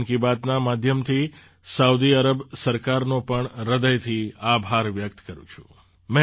હું મન કી બાતના માધ્યમથી સાઉદી અરબ સરકારનો પણ હૃદયથી આભાર વ્યક્ત કરું છું